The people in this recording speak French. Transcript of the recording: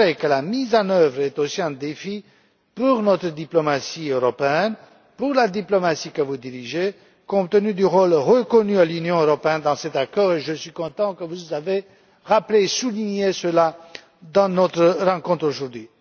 J'ajouterai que la mise en œuvre est aussi un défi pour notre diplomatie européenne, pour la diplomatie que vous dirigez, compte tenu du rôle reconnu de l'Union européenne dans cet accord et je suis content que vous l'ayez rappelé et souligné au cours de notre rencontre aujourd'hui.